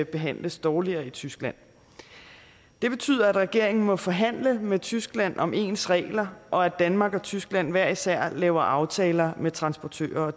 behandles dårligere i tyskland det betyder at regeringen må forhandle med tyskland om ens regler og at danmark og tyskland hver især laver aftaler med transportører